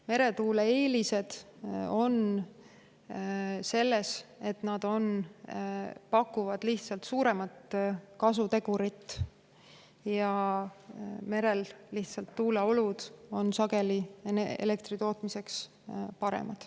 Meretuule eelised on, et need pakuvad suuremat kasutegurit ja merel on tuuleolud elektri tootmiseks sageli paremad.